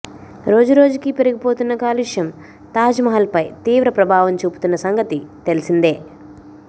రోజు రోజుకీ పెరిగిపోతున్న కాలుష్యం తాజ్ మహల్ పై తీవ్ర ప్రభావం చూపుతున్న సంగతి తెలిసిందే